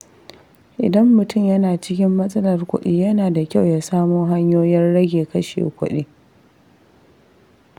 Idan mutum yana cikin matsalar kuɗi, yana da kyau ya samo hanyoyin rage kashe kuɗi.